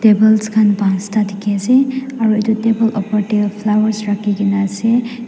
tables khan pansta dikhiase aru edu table opor tae flowers rakhikaena ase.